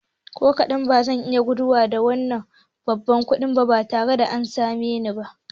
Ko kaɗan, bazan iya guduwa da wannan babban kuɗin ba tare da an samo ni ba